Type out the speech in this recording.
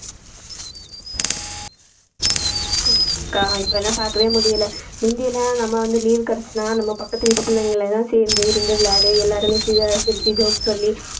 ஆமாக்கா இப்பலாம் பார்க்கவே முடியலை முந்தி எல்லாம் நம்ம வந்து leave கிடைச்சுதுன்னா நம்ம பக்கத்து வீட்டு பிள்ளைங்கலாம் சேர்ந்து இருந்து விளையாடி எல்லாருமே சிரி~ சிரிச்சு joke சொல்லி